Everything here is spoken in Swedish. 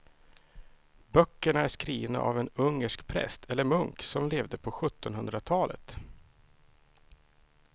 Böckerna är skrivna av en ungersk präst eller munk som levde på sjuttonhundratalet.